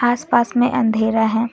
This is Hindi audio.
आस पास में अंधेरा है।